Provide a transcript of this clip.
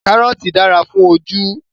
Karọọti dara fun oju